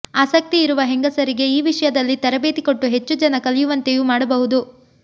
ಆಸಕ್ತಿ ಇರುವ ಹೆಂಗಸರಿಗೆ ಈ ವಿಷಯದಲ್ಲಿ ತರಬೇತಿ ಕೊಟ್ಟು ಹೆಚ್ಚು ಜನ ಕಲಿಯುವಂತೆಯೂ ಮಾಡಬಹುದು